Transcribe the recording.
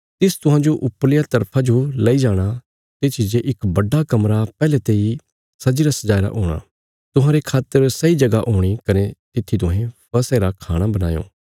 तिस तुहांजो ऊपरलिया तरफा जो लेई जाणा तित्थी जे इक बड्डा कमरा पहले तेई सजीरा सजाईरा हूणा तुहांरे खातर सैई जगह हूणी कने तित्थी तुहें फसह रा खाणा बणायों